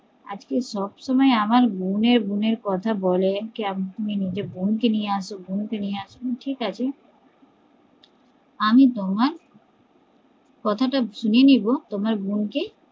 আজকে সব সময় আমার বোনের বোনের কথা বলে যে বোন কে নিয়ে আসো বোন কে নিয়ে আসো ঠিকাছে আমি তোমার তোমার কথা টা শুনে নেবো তোমার বোনকে